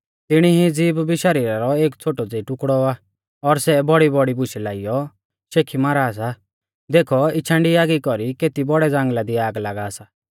तिणी ई ज़ीभ भी शरीरा रौ एक छ़ोटौ ज़ेई टुकड़ौ आ और सै बौड़ीबौड़ी बुशै लाइयौ शेखी मारा सा देखौ इछांडी आगी कौरी केती बौड़ै ज़ांगल़ा दी आग लागा सा